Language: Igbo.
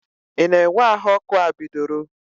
Ị na-enwe ahụ ọkụ a bidoro?